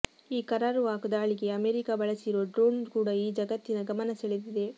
ಈ ಕರಾರುವಾಕ್ ದಾಳಿಗೆ ಅಮೆರಿಕಾ ಬಳಸಿರೋ ಡ್ರೋಣ್ ಕೂಡ ಈಗ ಜಗತ್ತಿನ ಗಮನ ಸೆಳೆದಿದೆ